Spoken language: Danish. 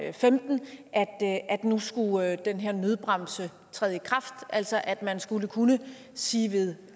og femten at nu skulle den her nødbremse træde i kraft altså at man skulle kunne sige ved